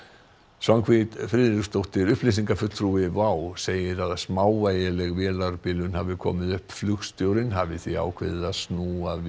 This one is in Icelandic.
Svanhvít Friðriksdóttir upplýsingafulltrúi WOW segir að að smávægileg vélarbilun hafi komið upp flugstjórinn hafi því ákveðið að snúa við